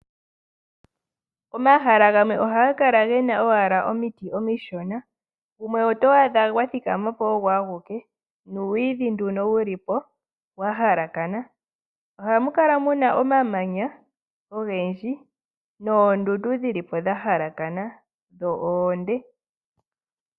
Omahala gamwe ohaga kala owala ge na omiti omishona. gumwe oto adha gwa thikama po ogo aguke nuuyidhi nduno wuli po wa halakana. Ohamu kala nduno mu na omamanya noondundu dhili po dha halakana, dho oonde.